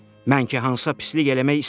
Mən ki Hansa pislik eləmək istəmirəm.